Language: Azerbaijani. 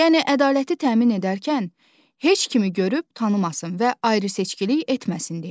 Yəni ədaləti təmin edərkən heç kimi görüb tanımasın və ayrı-seçkilik etməsin deyə.